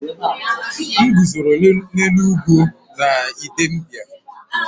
M guzoro n’elu ugwu na Idembia